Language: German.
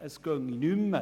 Es gehe nicht mehr.